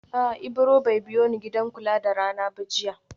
A'a Ibro bai biyoni gidan kula da rana ba jiya